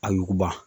A yuguba